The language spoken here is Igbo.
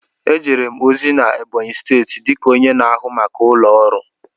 Ejere m ozi na Ebonyi steeti dịka onye na-ahụ maka ụlọ ọrụ.